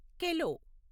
కెలో